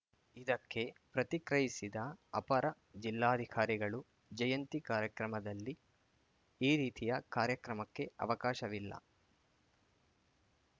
ಇದಕ್ಕೆ ಪ್ರತಿಕ್ರಯಿಸಿದ ಅಪರ ಜಿಲ್ಲಾಧಿಕಾರಿಗಳು ಜಯಂತಿ ಕಾರ್ಯಕ್ರಮದಲ್ಲಿ ಈ ರೀತಿಯ ಕಾರ್ಯಕ್ರಮಕ್ಕೆ ಅವಕಾಶವಿಲ್ಲ